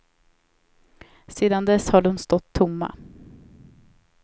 Sedan dess har de stått tomma.